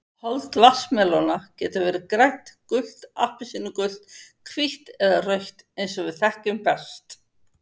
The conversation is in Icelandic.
Hold vatnsmelóna getur verið grænt, gult, appelsínugult, hvítt eða rautt eins og við þekkjum best.